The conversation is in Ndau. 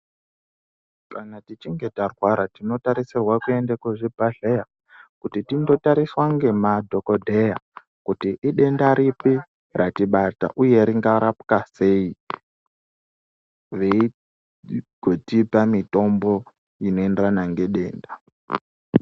Kana tichinge tarwara tinotarisirwe kuenda kuzvibhedhlera kuti tinotariswe ngemadhokodheya kuti idenda ripi ratibata uye ringarapwa sei veitipa mitombo inoenderana ngedenda .